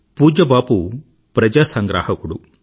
పూజ్య బాపు ప్రజా సంగ్రాహకుడు